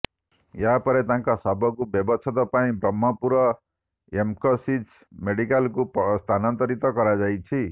ଏହାପରେ ତାଙ୍କ ଶବକୁ ବ୍ୟବଚ୍ଛେଦ ପାଇଁ ବ୍ରହ୍ମପୁର ଏମ୍କେସିଜି ମେଡିକାଲକୁ ସ୍ଥାନାନ୍ତରିତ କରାଯାଇଛି